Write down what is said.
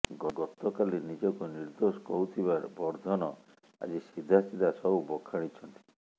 ଗତକାଲି ନିଜକୁ ନିର୍ଦ୍ଦୋଶ କହୁଥିବା ବର୍ଦ୍ଧନ ଆଜି ସିଧାସିଧା ସବୁ ବଖାଣିଛନ୍ତି